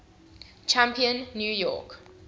champion new york